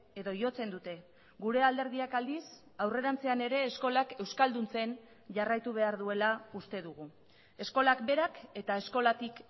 edo jotzen dute gure alderdiak aldiz aurrerantzean ere eskolak euskalduntzen jarraitu behar duela uste dugu eskolak berak eta eskolatik